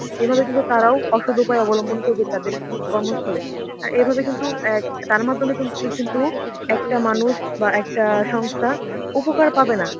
এভাবে কিন্তু তারাও অসৎ উপায় অবলম্বন করবে তাদের অ্যাঁ কর্মস্থলে এইভাবে কিন্তু অ্যাঁ তার মাধ্যমে কি~ কিন্তু একটা মানুষ বাহঃ একটা সংস্থা উপকার পাবে না.